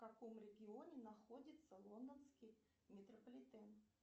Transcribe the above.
в каком регионе находится лондонский метрополитен